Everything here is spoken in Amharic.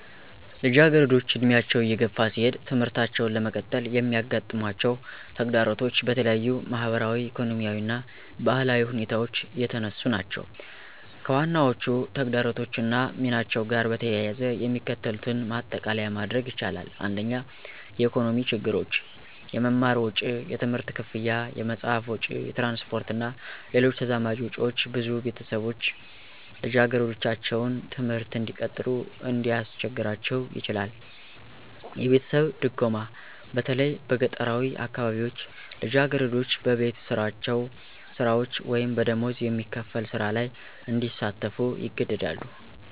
ልጃገረዶች ዕድሜያቸው እየገፋ ሲሄድ ትምህርታቸውን ለመቀጠል የሚያጋጥማቸው ተግዳሮቶች በተለያዩ ማኅበራዊ፣ ኢኮኖሚያዊ እና ባህላዊ ሁኔታዎች የተነሱ ናቸው። ከዋናዎቹ ተግዳሮቶች እና ሚናቸው ጋር በተያያዘ የሚከተሉትን ማጠቃለያ ማድረግ ይቻላል። 1. **የኢኮኖሚ ችግሮች** - **የመማር ወጪ** የትምህርት ክፍያ፣ የመጽሐፍ ወጪ፣ የትራንስፖርት እና ሌሎች ተዛማጅ ወጪዎች ብዙ ቤተሰቦች ልጃገረዶቻቸውን ትምህርት እንዲቀጥሉ እንዲያስቸግራቸው ይችላል። - **የቤተሰብ ድጎማ** በተለይ በገጠራዊ አካባቢዎች ልጃገረዶች በቤት ስራዎች ወይም በደሞዝ የሚከፈል ሥራ ላይ እንዲሳተፉ ይገደዳሉ